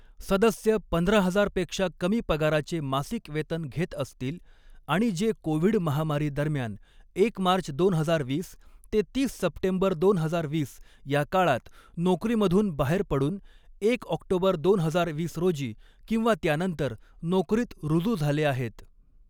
सदस्य पंधरा हजार पेक्षा कमी पगाराचे मासिक वेतन घेत असतील आणि जे कोविड महामारी दरम्यान एक मार्च दोन हजार वीस ते तीस सप्टेंबर दोन हजार वीस या काळात नोकरीमधून बाहेर पडून एक ऑक्टोबर दोन हजार वीस रोजी किंवा त्यानंतर नोकरीत रुजू झाले आहेत.